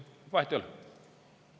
Aga vahet ei ole!